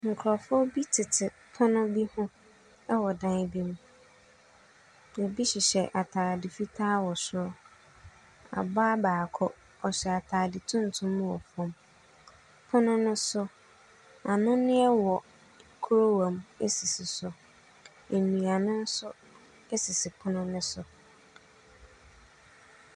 Nkurɔfoɔ bi tese pono bi ho wɔ dan bi mu. Ɛbi hyehyɛ atade fitaa wɔ soro. Ɔbaa baako, ɔhyɛ atade tuntum wɔ fam. Pono no so, anonneɛ wɔ kuruwa mu sisi so. Nnuane nso sisi pono no so.